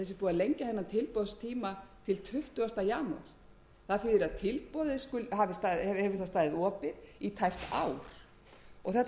lengja þennan tilboðstíma til tuttugasta janúar það þýðir að tilboðið hefur þá staðið opið í tæpt ár þetta kemur mér